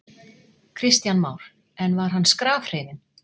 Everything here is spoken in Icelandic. Kristján Már: En var hann skrafhreifinn?